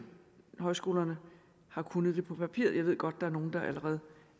højskolerne har kunnet det på papiret jeg ved godt der er nogle der allerede